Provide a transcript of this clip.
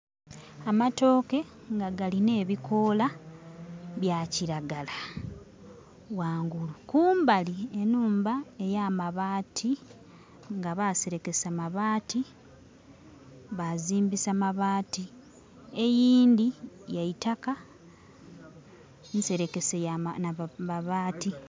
Amatooke nga galine bikola bya kiragala ghangulu, kumbali enhumba eya mabati nga Baserekesa mabati bazimbisa mabati. Eyindhi yaitaka enserekese nha mabati.